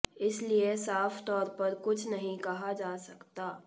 इसीलिए साफ तौर पर कुछ नहीं कहा जा सकता